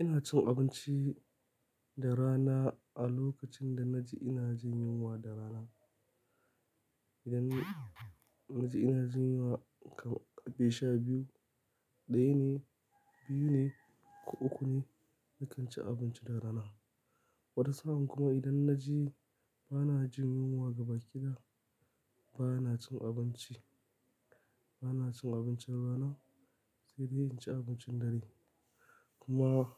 Ina cin abinci da rana a lokacin da na ji ina jin yunwa da rana. Idan na ji ina jin yunwa kamar sha biyu, ɗaya ne, biyu ne ko uku ne nakan ci abinci da rana. Wata sa'an kuma idan na ji bana jin yunwa gaba ɗaya bana cin abinci, bana cin abincin rana sai dai in ci abincin dare. Kuma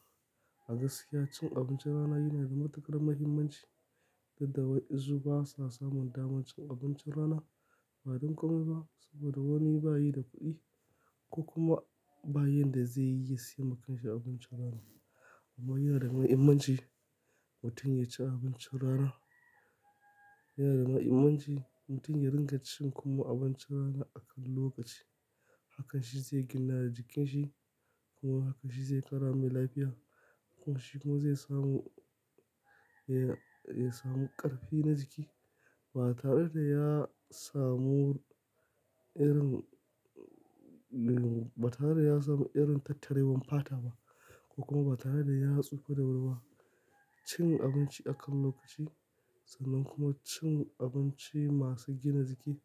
a gaskiya cin abincin rana yana da matuƙar muhimmanci, dadda wa'ensu ba sa samun dama cin abincin rana. Ba don komai ba saboda wani ba yi da kuɗi ko kuma ba yin da zai iya siyan makanshe abincin rana. Amma yana da muhimmanci mutum ya ci abincin rana. Yana da muhimmanci mutum ya ringa cin kuma abincin rana a kan lokaci. Hakan shi zai gina jikin shi kuma hakan shi zai ƙara mai lafiya. Kuma shi kuma zai samu, eh ya samu ƙarfi na jiki ba tare da ya samu irin, ba tare da ya samu irin tattarewan fata ba ko kuma ba tare da ya tsufa da wuri ba. Cin abinci a kan lokaci sannan kuma cin abinci masu gina jiki,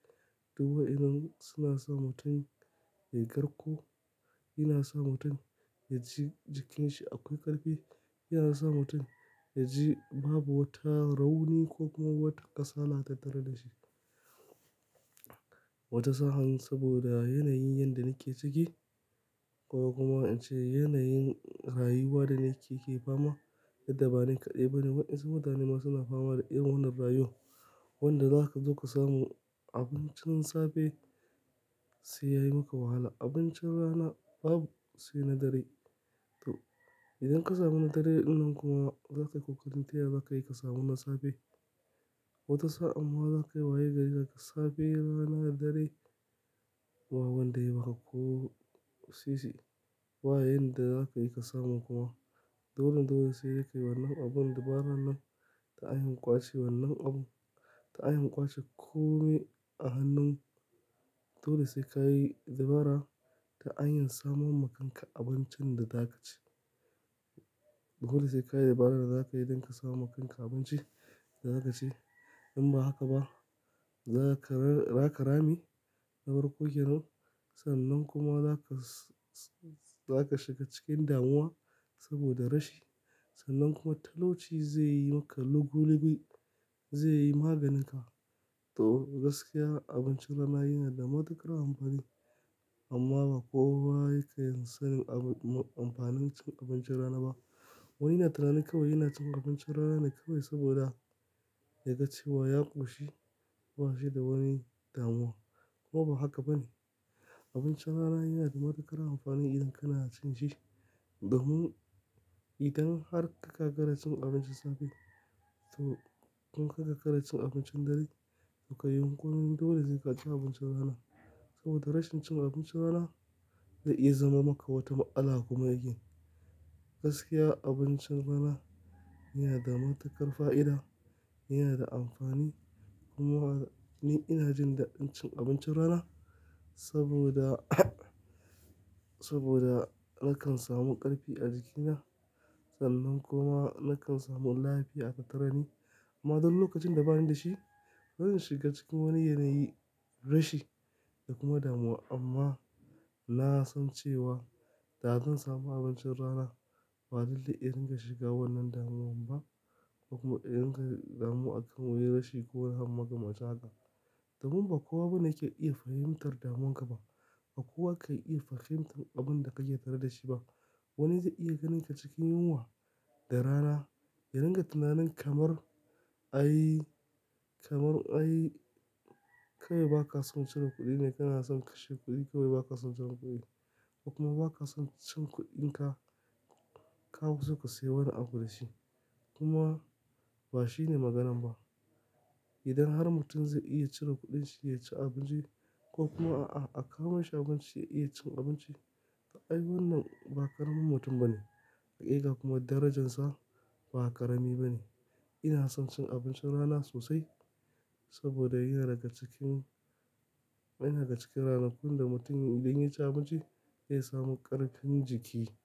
duk wa'inan suna sa mutum ya karko, yana sa mutum ya ji jikin shi akwai ƙarfi, yana sa mutum ya ji babu wata rauni ko kuma wata kasala ta tare da shi. Wata sa'an saboda yanayin yadda nake ciki ko kuma in ce yanayin rayuwa da nake ke fama dudda ba ni kaɗai ba ne waɗansu mutane ma suna fama da irin wannan rayuwa. Wanda zaka zo ka samu abincin safe sai yayi maka wahala. Abincin rana babu sai na dare. To idan ka samu na dare wannan kuma za ka yi kokarin taya za ka iya ka samu na safe. Wata sa'an ma za ka yi waye ga yadda ka safe rana dare ba wanda ya baka ko sisi bayenda zakayi ka samu kuma dole dole sai ka yi wannan abun dabarar nan ta hanyar ƙwace wannan abun ta hanyar ƙwace kome a hannun dole sai ka yi dabara ta hanyar samun maka abincin da zaka ci. Toli sai ka yi dabara da za ka yi idan ka samu makanka abinci da za ka ci. In ba haka ba za ka, za ka rame, na farƙo kenan sannan kuma za ka, za ka shiga cikin damuwa saboda rashi. Sannan kuma talauci zai yi maka lugulugi, zai yi maganinka. To gaskiya abincin rana yana da matuƙar amfani amma ba kowa yake yin sanin abu, amfanin cin abincin rana ba. Wani yana tunanin kawai yana cin abincin rana ne kawai saboda ya ga cewa ya ƙoshi ba shi da wani damuwa. Kuma ba haka ba ne. Abincin rana yana da matuƙar amfani idan kana cin shi. Domin idan har ka gagara cin abincin safe to in ka ga ka ga cin abincin dare to ka yi yunƙurin dole zai ka ci abincin rana. Saboda rashin cin abincin rana zai iya zama maka wata matala kuma again Gaskiya abincin rana yana da matuƙar fa'ida, yana da amfani kuma ni ina jin dadin cin abincin rana saboda, saboda nakan samu ƙarfi a jikina sannan kuma nakan samu lafiya a tattare ni. Amma don lokacin da bani da shi zan shiga cikin wani yanayi, rashi da kuma damuwa amma na san cewa da zan samu abincin rana ba dole in ringa shiga wannan damuwan ba ko kuma in kai damuwa akan wani rashi ko makamancin haka Domin ba kowa bane yake iya fahimtar damuwarka ba. Ba kowa ke iya fahimtar abun da ka ke tare da shi ba. Wani zai iya ganinka cikin yunwa da rana ya ringa tunanin kamar, "Ai kamar ai kawai ba ka son cire kuɗi ne, kana son kashe kuɗi kawai ba ka son cire kuɗi ba kuma ba ka son cin kuɗinka ka zo ka sayo wani abu da shi." Kuma ba shine maganan ba. Idan har mutum zai iya cire kuɗin shi ya ci abinci ko kuma a, a kama shi abinci ya iya cin abinci, ƙa'a wannan ba ƙaramin mutum bane. Haƙiƙa kuma darajarsa ba ƙarami bane. Ina son cin abincin rana sosai saboda yana daga cikin, yana daga cikin ranakun da mutum idan ya ci abinci zai samu ƙarfin jiki.